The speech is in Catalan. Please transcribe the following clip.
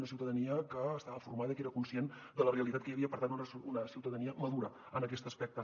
una ciutadania que estava formada i que era conscient de la realitat que hi havia per tant una ciutadania madura en aquest aspecte